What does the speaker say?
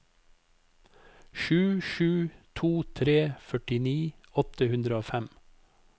sju sju to tre førtini åtte hundre og fem